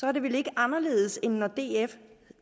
er det vel ikke anderledes end når